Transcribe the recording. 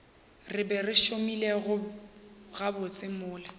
re ba šomile gabotse mola